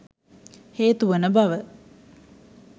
හේතු වන බව